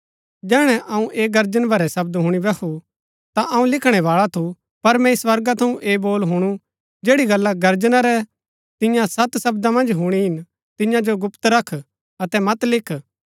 जैहणै अऊँ ऐह गर्जन भरै शब्द हूणी बैहू ता अऊँ लिखणै बाळा थू पर मैंई स्वर्गा थऊँ ऐह बोल हुणु जैड़ी गल्ला गर्जना रै तियां सत शब्दा मन्ज हुणी हिन तियां जो गुप्त रख अतै मत लिख